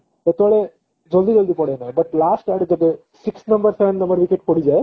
ସେତେବେଳେ ଜଲଦି ଜଲଦି ପଡେନି but last ଆଡେ ଯେବେ six number seven number wicket ପଡିଯାଏ